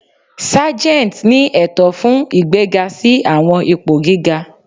Sargeants ni ẹtọ fun igbega si awọn ipo giga.